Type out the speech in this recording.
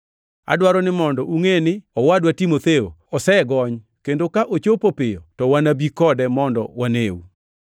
Adwaro ni mondo ungʼe ni owadwa Timotheo osegony kendo ka ochopo piyo to wanabi kode mondo waneu.